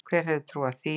Hver hefði trúað því?